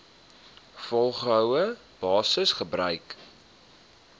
volgehoue basis gebruik